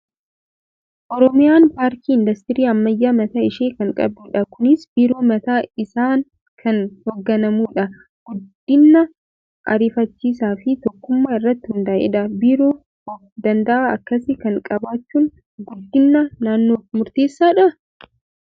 Oromiyaan paarkii industirii ammayyaa mataa ishii kan qabdudha. Kunis biiroo mataa isaan kan hoogganamudha. Guddina ariifachiisaa fi tokkummaa irratti hundaa'edha. Biiroo of danda'aa akkasii kana qabaachuun guddina naannoof murteessaa dhaa?